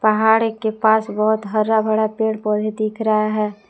पहाड़ी के पास बहोत हरा भरा पेड़ पौधे दिख रहा है।